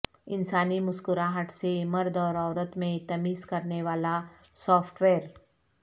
انسانی مسکراہٹ سے مرد اور عورت میں تمیز کرنے والا سافٹ ویئر